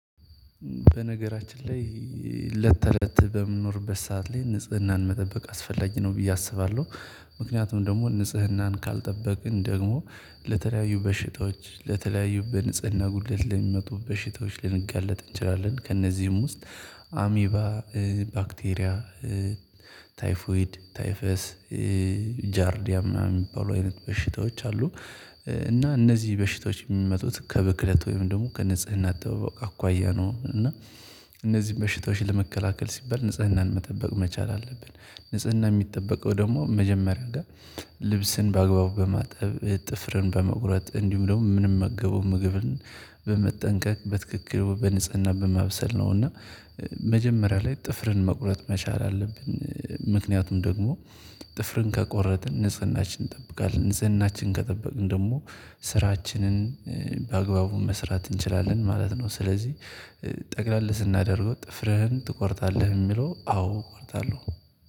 በነገራችን ላይ እለት ተእለት በምንኖርበት ሰዓት ላይ ንጽህናን መጠበቅ አስፈላጊ ነው ብዬ አስባለሁ። ምክንያቱም ደግሞ ንጽህናን ካልጠበቅን ደግሞ ለተለያዩ በሽታዎች ለተለያዩ በንጽህና ጉድለት ለሚመጡ በሽታዎች ልንጋለጥ እንችላለን። ከእነዚህም ውስጥ አሚባ ባክቴሪያ ታይፎይድ ታይፈስ ጃርዲያ ምናምን የሚባሉ አይነት በሽታዎች አሉ። እና እነዚህ በሽታዎች የሚመጡት ከብክለት ወይም ደግሞ ከንጽህናት አጠባበቅ አኳያ ነው። እና እነዚህን በሽታዎች ለመከላከል ሲባል ንጽህናን መጠበቅ መቻል አለብን። ንጽህና የሚጠበቀው ደግሞ መጀመሪያ ጋር ልብስን በአግባቡ በማጠብ ጥፍርን በመቁረጥ እንዲሁም ደግሞ ምንም መገበው ምግብን በመጠንቀቅ በትክክል በንጽህና በማብሰል ነው። እና መጀመሪያ ላይ ጥፍርን መቁረጥ መቻል አለብን። ምክንያቱም ደግሞ ጥፍርን ከቆረጥን ንጽህናችን እንጠብቃለን ንጽህናችን ከጠበቅን ደግሞ ስራችንን በአግባቡ መስራት እንችላለን ማለት ነው። ስለዚህ ጠቅለል ስናደርገው ጥፍርህን ትቆርጣለህ የሚለው አዎ እቆርጣለሁ።